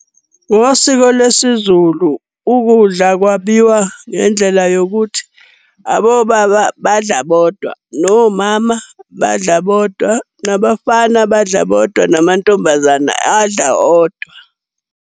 Ngosiko lwesiZulu, ukudla kwabiwa ngendlela yokuthi abobaba badla bodwa, nomama badla bodwa, nabafana badla bodwa, namantombazane adla odwa.